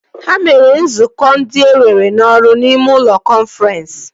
Ha mere nzukọ ndị ewere n'ọrụ n'ime ụlọ kọnfrensị